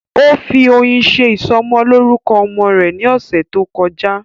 Ó fi oyin ṣe ìsọmọlórúkọ ọmọ rẹ̀ ní ọ̀sẹ̀ tó kọjá